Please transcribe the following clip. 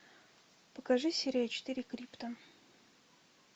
покажи серия четыре крипта